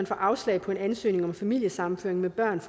får afslag på en ansøgning om familiesammenføring med børn